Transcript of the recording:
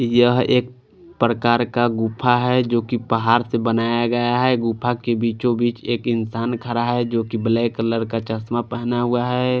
यह एक प्रकार का गुफा है जो की पहाड़ से बनाया गया है गुफा के बीचों बीच एक इंसान खड़ा है जो की ब्लैक कलर का चश्मा पहना हुआ है।